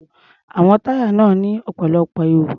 Àwọn táyà náà ní ọ̀pọ̀lọpọ̀ ihò.